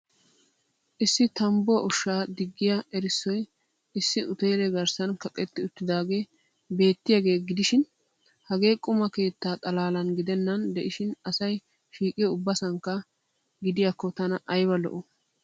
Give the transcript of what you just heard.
Issi tambbuwa ushshaa diggiya erissoy issi uteele garssan kaqetti uttidaagee beettiyaaga gidishiin hagee qumma kettaa xalaalan gidennan de'ishiin asay shiiqiyo ubbanasankka gidiyakko tana aybba lo'!!